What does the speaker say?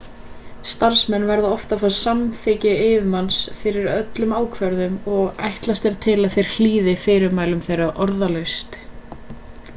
starfsmenn verða oft að fá samþykki yfirmanns fyrir öllum ákvörðunum og ætlast er til að þeir hlýði fyrirmælum þeirra orðalaust